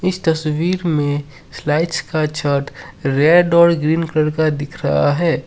इस तस्वीर में स्लाइड का रेड और ग्रीन कलर का दिख रहा है।